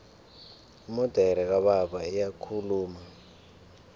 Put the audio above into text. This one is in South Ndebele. imodere kababa iyakhuluma